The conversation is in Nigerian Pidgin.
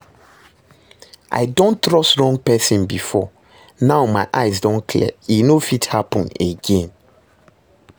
I don trust wrong person before, now my eyes don clear, e no fit happen again